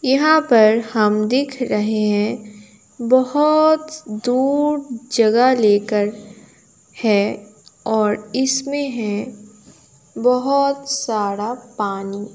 यहाँ पर हम देख रहे हैं बहुत दूर जगह लेकर है और इसमें है बहोत सारा पानी।